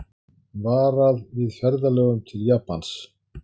Varað við ferðalögum til Japans